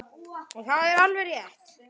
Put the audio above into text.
Og það er alveg rétt.